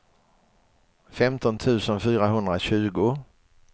femton tusen fyrahundratjugo